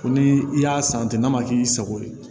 Ko ni i y'a san ten n'a ma k'i sago ye